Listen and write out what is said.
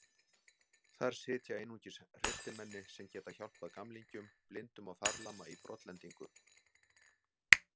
Þar sitja einungis hreystimenni sem geta hjálpað gamlingjum, blindum og farlama í brotlendingu.